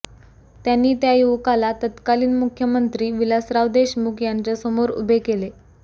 त्यांनी त्या युवकाला तत्कालीन मुख्यमंत्री विलासराव देशमुख यांच्यासमोर उभे केले